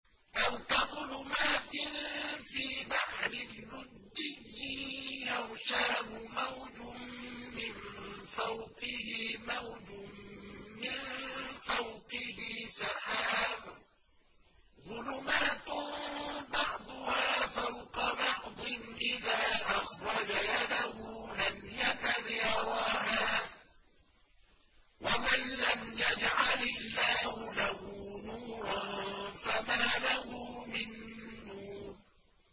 أَوْ كَظُلُمَاتٍ فِي بَحْرٍ لُّجِّيٍّ يَغْشَاهُ مَوْجٌ مِّن فَوْقِهِ مَوْجٌ مِّن فَوْقِهِ سَحَابٌ ۚ ظُلُمَاتٌ بَعْضُهَا فَوْقَ بَعْضٍ إِذَا أَخْرَجَ يَدَهُ لَمْ يَكَدْ يَرَاهَا ۗ وَمَن لَّمْ يَجْعَلِ اللَّهُ لَهُ نُورًا فَمَا لَهُ مِن نُّورٍ